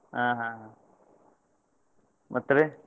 ಆ ಹಾ ಹಾ ಮತ್ತ್ರಿ?